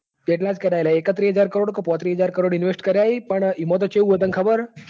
એટલા જ કર્યા હી લ્યા એકત્રીસ હજાર કરોડ કે પોત્રીસ હજાર કરોડ કર્યા હી પણ ઇમુ તો ચિવુ હ તન ખબર હ.